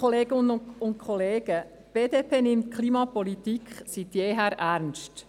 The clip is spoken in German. Die BDP nimmt die Klimapolitik seit jeher ernst.